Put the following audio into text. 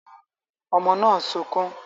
Ọmọ náà ń sunkún